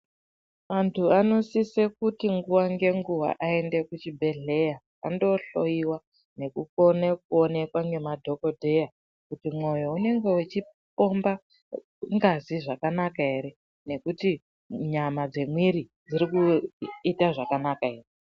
Vantu vanosisa kuti nguwa ngenguwa vaende kuzvibhedhlera Vandohloiwa nekukona kuonekwa nemadhokodheya kuti mwoyo unenge uchipomba mukati zvakanaka here nekuti nyama dzemwiri dziri kuita zvakanaka here.